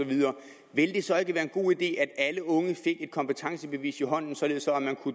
ville det så ikke være en god idé at alle unge fik et kompetencebevis i hånden således